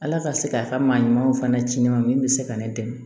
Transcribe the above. Ala ka se k'a ka maa ɲumanw fana ci ne ma min bɛ se ka ne dɛmɛ